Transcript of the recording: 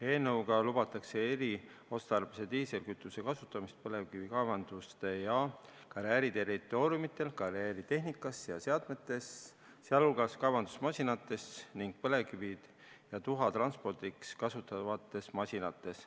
Eelnõuga lubatakse eriotstarbelise diislikütuse kasutamist põlevkivikaevanduste ja karjääride territooriumidel, karjääritehnikas ja -seadmetes, sealhulgas kaevandusmasinates ning põlevkivi ja tuhka transportivates masinates.